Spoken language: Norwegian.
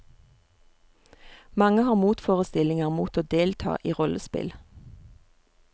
Mange har motforestillinger mot å delta i rollespill.